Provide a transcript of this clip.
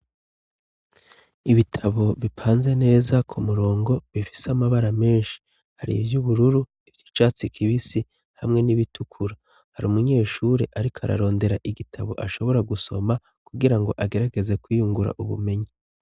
Ibitabo bipanze neza ku murongo bifise amabara menshi hari ivyo ubururu ivyo icatsi kibisi hamwe n'ibitukura hari umunyeshure, ariko ararondera igitabo ashobora gusoma kugira ngo agerageze kwiyungura ubumenyi.